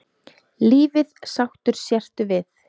Lífið sáttur sértu við.